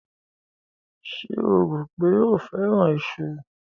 Ṣé o rò pé ó fẹ́ràn iṣu?